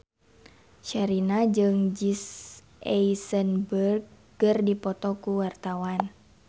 Sherina jeung Jesse Eisenberg keur dipoto ku wartawan